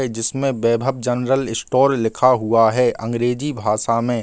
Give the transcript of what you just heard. जिसमे Vaibhav general store लिखा हुआ है अंग्रेजी भाषा में ।